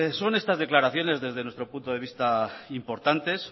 son estas declaraciones desde nuestro punto de vista importantes